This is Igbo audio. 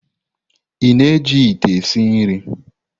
Ị na-eji ite esi nri?